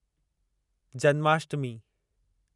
Janmashtami